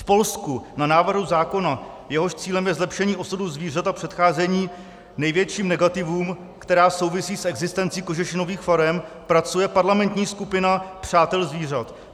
V Polsku na návrhu zákona, jehož cílem je zlepšení osudu zvířat a předcházení největším negativům, která souvisí s existencí kožešinových farem, pracuje parlamentní skupina přátel zvířat.